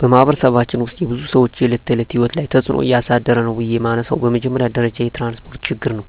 በማኅበረሰባችን ውስጥ የብዙ ሰዎች የዕለት ተዕለት ሕይወት ላይ ትጽእኖ እያሳደረ ነው ብዬ የመነሣው በመጀመሪያ ደረጃ የትራንስፓርት ችግር ነው።